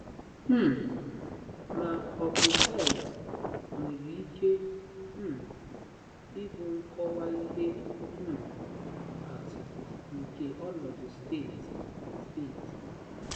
um Ma ọ bụ hell nwere ike um ịbụ nkọwa ihe um atụ nke ọnọdụ, steeti steeti?